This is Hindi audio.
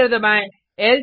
एंटर दबाएँ